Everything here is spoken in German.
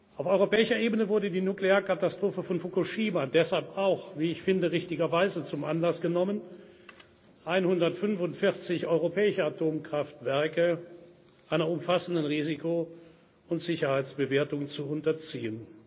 haltmachen. Auf europäischer Ebene wurde die Nuklearkatastrophe von Fukushima deshalb auch wie ich finde, richtigerweise zum Anlass genommen, 145 europäische Atomkraftwerke einer umfassenden Risiko und Sicherheitsbewertung zu